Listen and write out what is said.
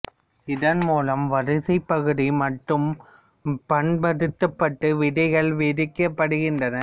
இதன் மூலம் வரிசை பகுதி மட்டும் பண்படுத்தப்பட்டு விதைகள் விதைக்கப்படுகின்றன